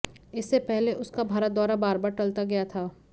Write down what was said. इससे पहले उसका भारत दौरा बार बार टलता गया था